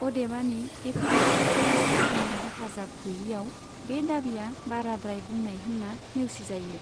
अदेबानि, एपिग्राफिकेल साखीनि हेफाजाब गैयैआव बे दाबिया बाराद्राय बुंनाय होन्ना नेवसिजायो।